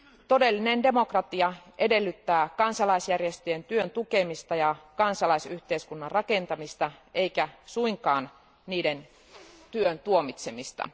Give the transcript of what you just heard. Todellinen demokratia edellyttää kansalaisjärjestöjen työn tukemista ja kansalaisyhteiskunnan rakentamista eikä suinkaan niiden työn tuomitsemista.